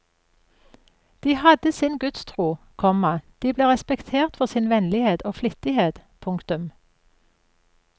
De hadde sin gudstro, komma de ble respektert for sin vennlighet og flittighet. punktum